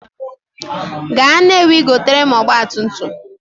Gaa Nnewi goteere m ọgbatumtum!